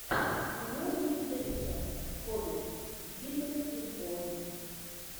кино ричарда ричи хоббит битва пяти воинств